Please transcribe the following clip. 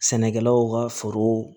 Sɛnɛkɛlaw ka foro